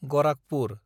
Gorakhpur